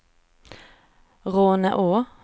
Råneå